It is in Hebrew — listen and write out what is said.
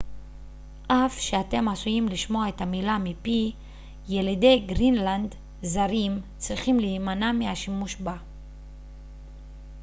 אף שאתם עשויים לשמוע את המילה מפי ילידי גרינלנד זרים צריכים להימנע מהשימוש בה